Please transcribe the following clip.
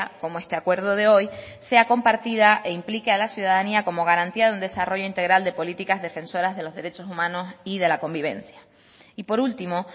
como este acuerdo de hoy sea compartida e implique a la ciudadanía como garantía de un desarrollo integral de políticas defensoras de los derechos humanos y de la convivencia y por último